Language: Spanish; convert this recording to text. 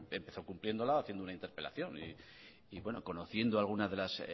empezó cumpliéndola haciendo una interpelación y bueno conociendo alguna de las